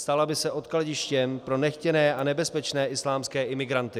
Stala by se odkladištěm pro nechtěné a nebezpečné islámské imigranty.